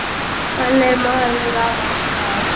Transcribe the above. Hann er maður afar smár.